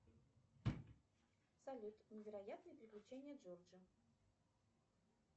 салют невероятные приключения джорджа